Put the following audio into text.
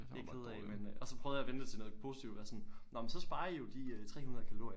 Det er jeg ked af men øh og så prøvede jeg at vende det til noget positivt og være sådan nå men så sparer i jo de øh 300 kalorier